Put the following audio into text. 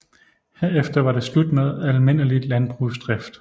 Herefter var det slut med almindelig landbrugsdrift